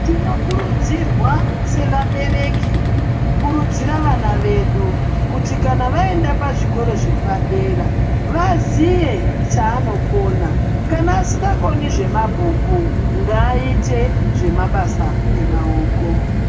Tinokurudzirwa sevabereki kukurudzira vana vedu kuti kana vaenda pazvikoro zvepadera vaziye chaanokona kana asingakoni kana asingakoni zvemabhuku ngaaite zvemabasa emaoko.